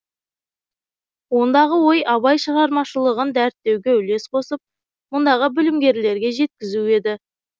ондағы ой абай шығармашылығын дәріптеуге үлес қосып мұндағы білімгерлерге жеткізу еді